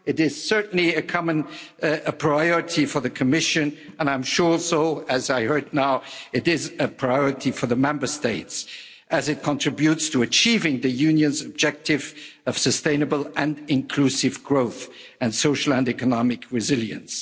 It is certainly a common priority for the Commission, and I'm sure also, as I heard now, it is a priority for the Member States, as it contributes to achieving the Union's objective of sustainable and inclusive growth and social and economic resilience.